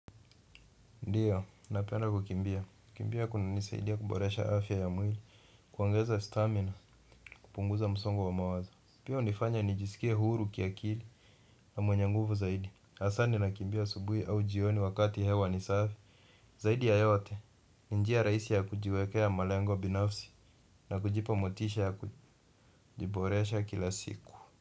Ndiyo, napenda kukimbia. Kukimbia kunanisaidia kuboresha afya ya mwili, kuongeza stamina, kupunguza msongo wa mawazo pia hunifanya nijisikie huru kiakili na mwenye nguvu zaidi hasa ninakimbia asubuhi au jioni wakati hewa ni safi. Zaidi ya yote, ni njia rahisi ya kujiwekea malengo binafsi na kujipa motisha ya kujiboresha kila siku.